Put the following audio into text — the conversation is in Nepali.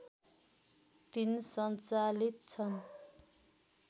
३ सञ्चालित छन्